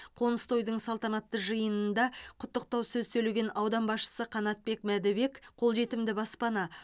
қоныс тойдың салтанатты жиынында құттықтау сөз сөйлеген аудан басшысы қанатбек мәдібек қолжетімді баспана